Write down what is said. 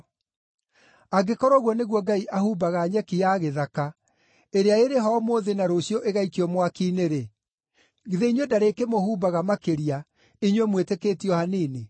Angĩkorwo ũguo nĩguo Ngai ahumbaga nyeki ya gĩthaka, ĩrĩa ĩrĩ ho ũmũthĩ na rũciũ igaikio mwaki-inĩ-rĩ, githĩ inyuĩ ndarĩkĩmũhumbaga makĩria, inyuĩ mwĩtĩkĩtie o hanini!